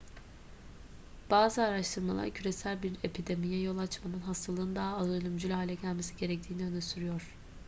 bazı araştırmalar küresel bir epidemiye yol açmadan hastalığın daha az ölümcül hale gelmesi gerektiğini öne sürüyor